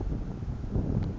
lamalunga